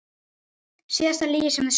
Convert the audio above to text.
Síðasta lygi sem þið sögðuð?